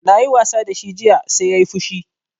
Na yi wasa da shi jiya sai yayi fushi